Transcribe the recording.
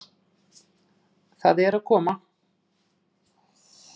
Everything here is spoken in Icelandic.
Það er að koma